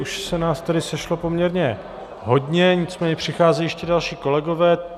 Už se nás tady sešlo poměrně hodně, nicméně přicházejí ještě další kolegové.